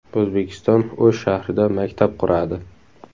O‘zbekiston O‘sh shahrida maktab quradi.